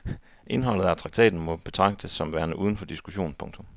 Indholdet af traktaten må betragtes som værende uden for diskussion. punktum